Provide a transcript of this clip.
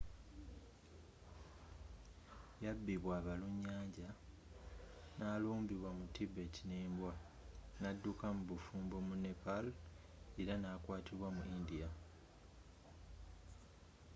yabibwa abalunyanja yalumbibwa mu tibet ne mbwa n'adduka mu bufumbo mu nepal era n'akwatibwa mu india